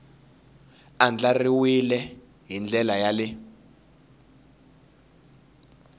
andlariwile hi ndlela ya le